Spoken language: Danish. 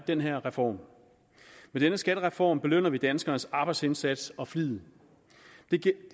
den her reform med denne skattereform belønner vi danskernes arbejdsindsats og flid